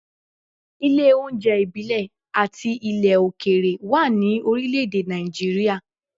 Ilé oúnjẹ ìbílẹ̀ àti ilẹ̀ òkèèrè wà ní orílẹ̀ èdè Nàìjíríà.